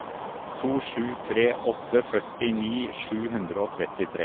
to sju tre åtte førtini sju hundre og trettitre